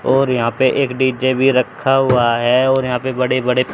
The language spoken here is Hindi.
और यहां पे एक डी_जे भी रखा हुआ है और यहां पे बड़े बड़े--